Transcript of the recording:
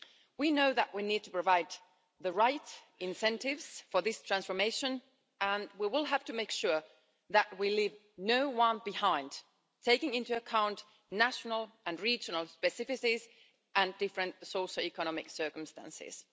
We know that we need to provide the right incentives for this transformation and we will have to make sure that we leave no one behind, taking into account national and regional specificities and different socioeconomic circumstances.